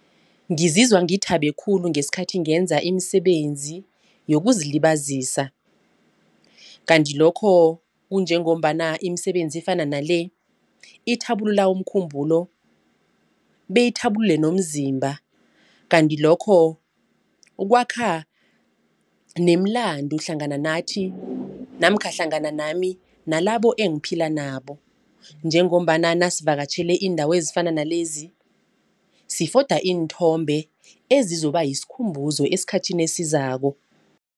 Ngizizwa ngithabe khulu ngesikhathi ngenza imisebenzi yokuzilibazisa. Kanti lokho kunjengombana imisebenzi efana nale ithabulula umkhumbulo, beyithabulule nomzimba. Kanti lokho kwakha nemilando hlangana nathi namkha hlangana nami nalabo engiphila nabo. Njengombana nasivakatjhele iindawo ezifana nalezi sifoda iinthombe ezizoba yisikhumbuzo esikhathini esizako.